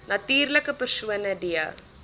natuurlike persone d